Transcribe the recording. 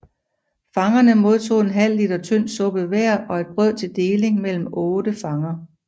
Fangerne modtog en halv liter tynd suppe hver og et brød til deling mellem otte fanger